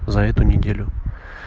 за эту неделю